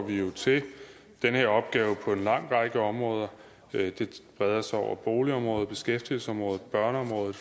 vi jo til den her opgave på en lang række områder det breder sig over boligområdet beskæftigelsesområdet børneområdet